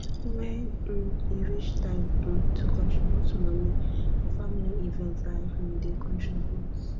wen um e reach time um to contribute moni for family event i um dey contribute